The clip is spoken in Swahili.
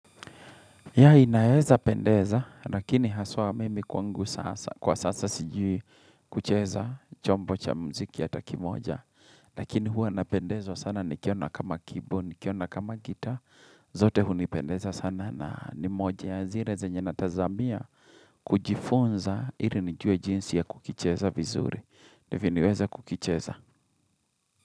Ya inayeza pendeza, lakini haswa mimi kwangu kwa sasa sijui kucheza chombo cha muziki hata kimoja, lakini hua napendezwa sana nikiona kama keyboard, nikiona kama gita, zote hunipendeza sana na nimoja ya zire zenye na tazamia kujifunza ili nijue jinsi ya kukicheza vizuri, nifiniweza kukicheza.